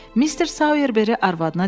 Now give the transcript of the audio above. Mister Sayerberi arvadına dedi: